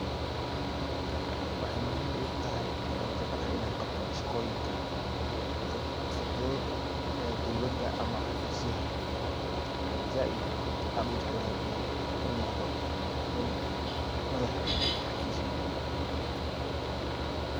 Waxey muhiim igutahy waxaan jeclahy inaan qabto shaqooyinka fudfudhud ee dowlada ama xafiisyaha ey zaid aan ujeclahy inaan unoqdo nin madhah eh oo cafiis na fadiyo.